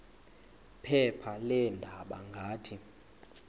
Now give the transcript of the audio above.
phepha leendaba ngathi